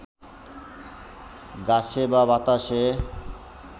ঘাসে বা বাতাসে